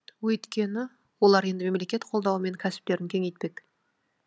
өйткені олар енді мемлекет қолдауымен кәсіптерін кеңейтпек